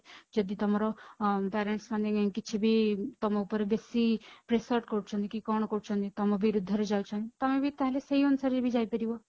ଯଦି ତମର parents ମାନେ କିଛି ବି ତମ ଉପରେ ବେଶି pressure କରୁଛନ୍ତି କି କଣ କରୁଛନ୍ତି ତମ ବିରୁଦ୍ଧରେ ଯାଉଛନ୍ତି ତମେ ବି ଚାହିଲେ ସେଇ ଅନୁସାରେ ବି ଯାଇ ପାରିବ